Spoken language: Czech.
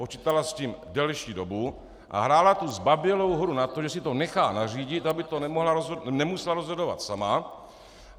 Počítala s tím delší dobu a hrála tu zbabělou hru na to, že si to nechá nařídit, aby to nemusela rozhodovat sama.